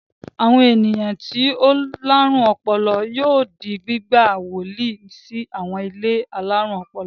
Àwọn ènìyàn tí ó láárùn ọpọlọ yóò di gbígbà wọlé sí àwọn ilé alárùn ọpọlọ.